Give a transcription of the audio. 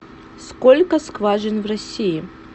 сколько скважин в россии